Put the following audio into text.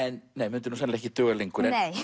myndi nú sennilega ekki duga lengur nei